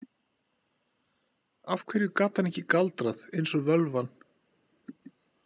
Af hverju gat hann ekki galdrað eins og völvan?